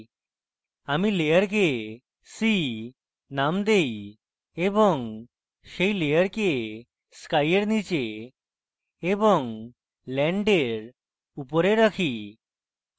আমি layer sea name দেই এবং sea layer sky এর নীচে এবং land এর উপরে রাখি